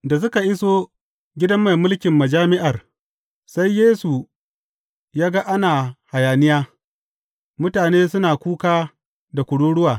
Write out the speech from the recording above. Da suka iso gidan mai mulkin majami’ar, sai Yesu ya ga ana hayaniya, mutane suna kuka da kururuwa.